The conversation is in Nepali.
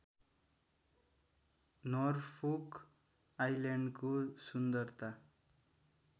नर्फोक आइल्याण्डको सुन्दरता